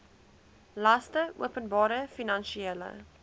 laste openbare finansiële